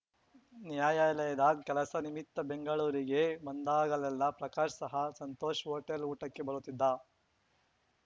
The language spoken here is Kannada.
ನ್ಯಾಯಾಲಯದ ಕೆಲಸ ನಿಮಿತ್ತ ಬೆಂಗಳೂರಿಗೆ ಬಂದಾಗಲೆಲ್ಲ ಪ್ರಕಾಶ್‌ ಸಹ ಸಂತೋಷ್‌ ಹೋಟೆಲ್‌ ಊಟಕ್ಕೆ ಬರುತ್ತಿದ್ದ